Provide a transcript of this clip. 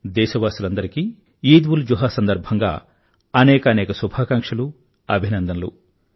దేశవాసులందరికీ ఈద్ఉల్జుహా సందర్భంగా అనేకానేక శుభాకాంక్షలు అభినందనలు